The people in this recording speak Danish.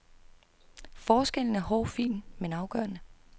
Forskellen er hårfin men afgørende.